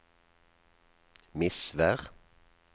Misvær